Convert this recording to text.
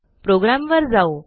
प्रोग्रॅमवर जाऊ